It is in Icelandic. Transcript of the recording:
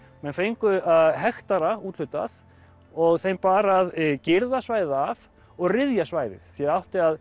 menn fengu hektara úthlutað og þeim bar að girða svæðið af og ryðja svæðið því það átti að